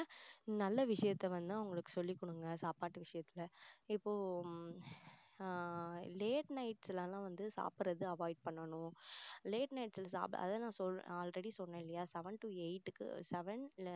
நல்ல விஷயத்தை வந்து அவங்களுக்கு சொல்லிக் கொடுங்க சாப்பாட்டு விஷயத்துல இப்போ ஆஹ் late nights லாம் வந்து சாப்பிடுறது avoid பண்ணணும் late night சாப்பிட அதை நான் சொல் already சொன்னேன் இல்லையா seven to eight க்கு